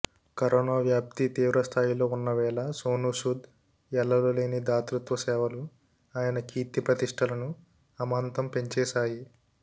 corona వ్యాప్తి తీవ్రస్థాయిలో ఉన్నవేళ సోనూ సూద్ ఎల్లలు లేని దాతృత్వ సేవలు ఆయన కీర్తిప్రతిష్ఠలను అమాంతం పెంచేశాయి